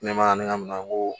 Ne ma ni ka minɛn n ko